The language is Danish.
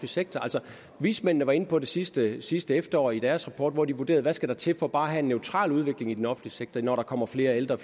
sektor altså vismændene var inde på det sidste sidste efterår i deres rapport hvor de vurderede hvad der skal til for bare at have en neutral udvikling i den offentlige sektor når der kommer flere ældre